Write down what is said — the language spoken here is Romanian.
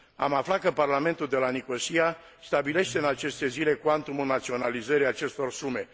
Am aflat că Parlamentul de la Nicosia stabilește în aceste zile cuantumul naționalizării acestor sume